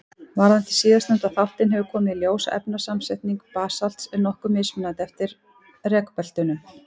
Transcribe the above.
Varðandi síðastnefnda þáttinn hefur komið í ljós að efnasamsetning basalts er nokkuð mismunandi eftir rekbeltunum.